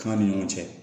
Kanga ni ɲɔgɔn cɛ